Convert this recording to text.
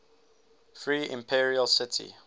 free imperial city